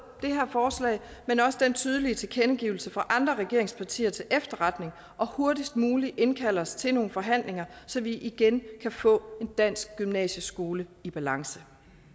det her forslag men også den tydelige tilkendegivelse fra andre regeringspartier til efterretning og hurtigst muligt indkalde os til nogle forhandlinger så vi igen kan få en dansk gymnasieskole i balance